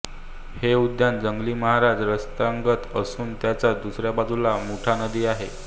हे उद्यान जंगली महाराज रस्त्यालगत असून त्याच्या दुसऱ्या बाजूला मुठा नदी आहे